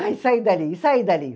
E saí dali, e saí dali.